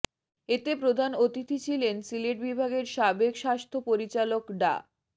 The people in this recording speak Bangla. এতে প্রধান অতিথি ছিলেন সিলেট বিভাগের সাবেক স্বাস্থ্য পরিচালক ডা